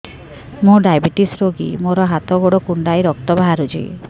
ମୁ ଡାଏବେଟିସ ରୋଗୀ ମୋର ହାତ ଗୋଡ଼ କୁଣ୍ଡାଇ ରକ୍ତ ବାହାରୁଚି